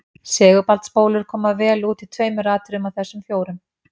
Segulbandsspólur koma vel út í tveimur atriðum af þessum fjórum.